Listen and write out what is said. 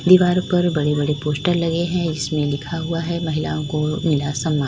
दीवार पर बड़े बड़े पोस्टर लगे हुए हैं जिसमें लिखा हुआ है महिलाओं को मिला सम्मान।